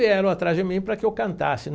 Vieram atrás de mim para que eu cantasse.